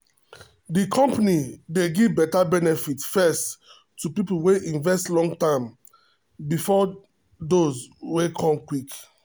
the company pause their growth plan small because production money don don high.